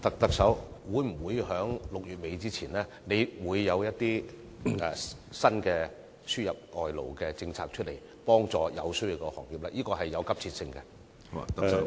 特首，你會否在6月底前，推出新的輸入外勞政策，以協助有需要的行業，解決迫切的問題？